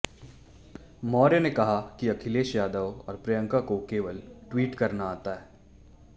मौर्य ने कहा कि अखिलेश यादव और प्रियंका को केवल ट्वीट करना आता है